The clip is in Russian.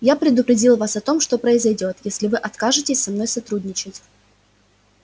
я предупредил вас о том что произойдёт если вы откажетесь со мной сотрудничать